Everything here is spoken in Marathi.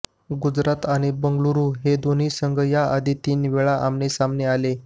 गुजरात आणि बेंगलुरु हे दोन्ही संघ याआधी तीनवेळा आमनेसामने आले